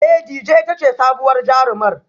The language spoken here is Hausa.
Ee Dejay ita ce sabuwar jarumar